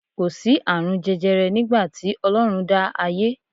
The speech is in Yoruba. Kò sí àrùn jẹjẹrẹ nígbà tí Ọlọ́run dá ayé